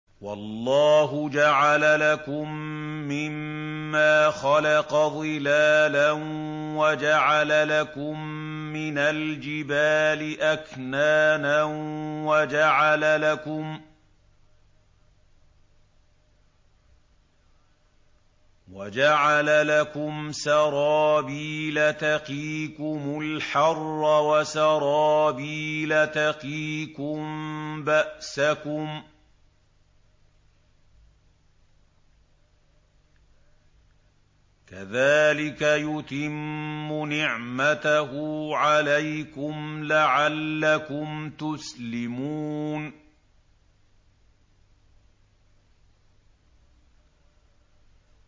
وَاللَّهُ جَعَلَ لَكُم مِّمَّا خَلَقَ ظِلَالًا وَجَعَلَ لَكُم مِّنَ الْجِبَالِ أَكْنَانًا وَجَعَلَ لَكُمْ سَرَابِيلَ تَقِيكُمُ الْحَرَّ وَسَرَابِيلَ تَقِيكُم بَأْسَكُمْ ۚ كَذَٰلِكَ يُتِمُّ نِعْمَتَهُ عَلَيْكُمْ لَعَلَّكُمْ تُسْلِمُونَ